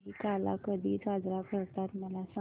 दहिकाला कधी साजरा करतात मला सांग